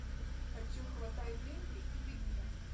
хочу хватай деньги и беги